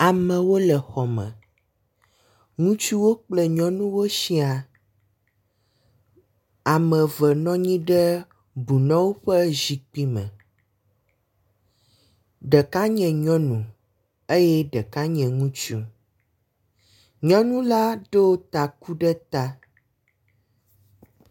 Amewo le xɔme, ŋutsuwo kple nyɔnuwo siaa, ame eve nɔ anyi ɖe bunɔwo ƒe zikpui me. Ɖeka nye nyɔnu eye ɖeka nye ŋutsu. Nyɔnu la ɖo taku ɖe ta.